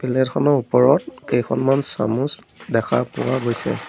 Plate খনৰ ওপৰত কেইখনমান চামুচ দেখা পোৱা গৈছে।